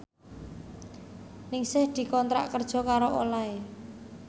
Ningsih dikontrak kerja karo Olay